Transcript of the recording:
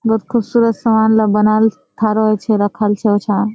बोहोत खूबसूरत सामानला बनाल छे थारा छे राखाल छे उछा।